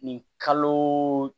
Nin kalo